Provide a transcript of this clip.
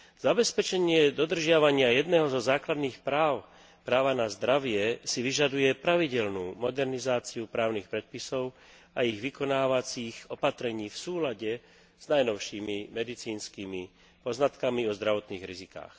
Zabezpečenie dodržiavania jedného zo základných práv, práva na zdravie, si vyžaduje pravidelnú modernizáciu právnych predpisov a ich vykonávacích opatrení v súlade s najnovšími medicínskymi poznatkami o zdravotných rizikách.